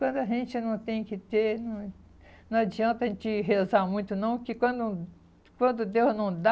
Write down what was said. Quando a gente não tem que ter, não não adianta a gente rezar muito não, porque quando quando Deus não dá,